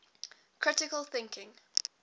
critical thinking